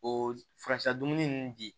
O furasira dumuni nunnu di